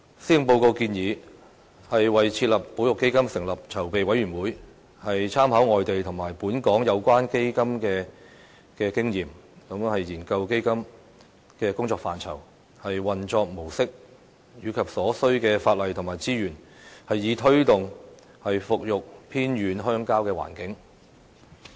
施政報告建議"為設立保育基金成立籌備委員會，參考外地及本港有關基金的經驗，研究此基金的工作範圍、運作模式和所需法例及資源"，以推動復育偏遠鄉郊的環境。